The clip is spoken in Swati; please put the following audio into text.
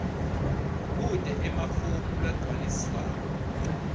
kute emafomu lagcwaliswako